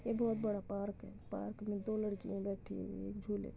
ये बहोत बड़ा पार्क है। पार्क में दो लड़कियां बैठी हुई हैं एक झूले --